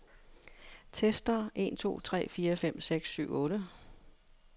Tester en to tre fire fem seks syv otte.